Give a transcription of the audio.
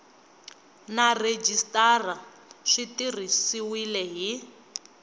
na rhejisitara swi tirhisiwile hi